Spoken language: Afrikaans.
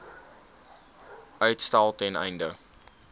uitstel ten einde